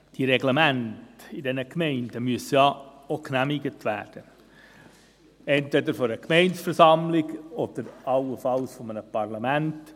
Die Reglemente in den Gemeinden müssen ja auch genehmigt werden, entweder von der Gemeindeversammlung oder allenfalls von einem Parlament.